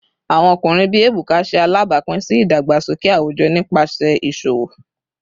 Awọn ọkunrin bii Ebuka ṣe alabapin si idagbasoke awujọ nipasẹ iṣowo